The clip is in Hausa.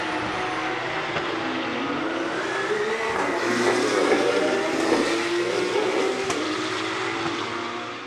Mai jego tana fita daga jego bayan ta cika kwanaki arba'in.